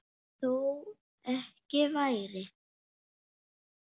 Þó ekki væri.